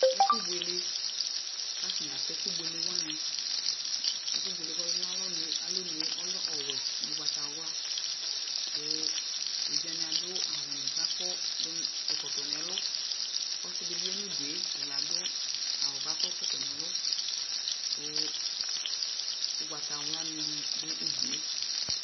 Ɛfu buele ku atani atɛ ɛkubuele wani ɛkubuele kɔlɛ nu alɔnu yɛ lɛ ɔwɛ nu ugbatawla ku evidzewani adu awudi ku ɛkɔtɔ kɔdu nu ɛlu ɔsidibi yanu udue tabi adu awu ku akɔ ɛkɔtɔ nu ɛlu ku ugbatawla nu du udue